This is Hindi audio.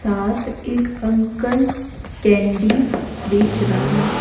साथ एक अंकल कैंडी बेच रहा--